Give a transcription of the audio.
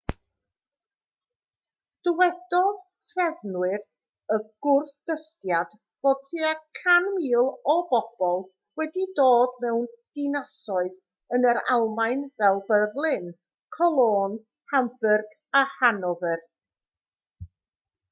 dywedodd trefnwyr y gwrthdystiad fod tua 100,000 o bobl wedi dod mewn dinasoedd yn yr almaen fel berlin cologne hamburg a hanover